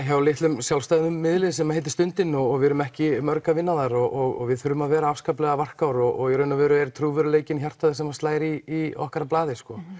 hjá litlum sjálfstæðum miðli sem heitir Stundin og við erum ekki mörg að vinna þar og við verðum að vera afskaplega varkár og í raun og veru er trúverðugleikinn hjartað sem slær í okkar blaði sko